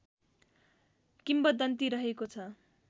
किम्बदन्ति रहेको छ